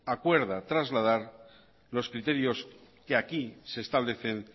acuerda trasladar los criterios que aquí se establecen